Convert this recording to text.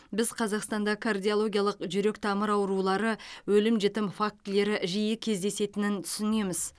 біз қазақстанда кардиологиялық жүрек тамыр аурулары өлім жітім фактілері жиі кездесетінін түсінеміз